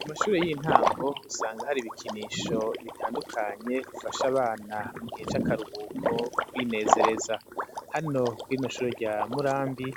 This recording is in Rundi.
Ku mashure y'intango, usanga hari ibikinisho bitandukanye, bifasha abana mu gihe c'akaruhuko kwinezereza; hano kuri rino shure rya Murambi,